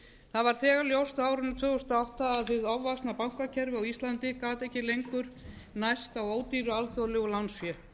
var þegar ljóst á árinu tvö þúsund og átta að hið ofvaxna bankakerfi á íslandi gat ekki lengur nærst á ódýru alþjóðlegu lánsfé